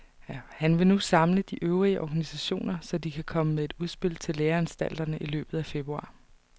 Han vil nu samle de øvrige organisationer, så de kan komme med et udspil til læreanstalterne i løbet af februar.